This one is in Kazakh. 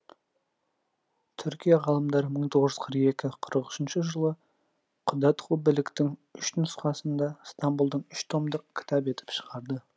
түркия ғалымдары мың тоғыз жүз қырық екі қырық үшінші жылы құтадғу білігтің үш нұсқасын да стамбұлдан үш томдық кітап етіп шығарды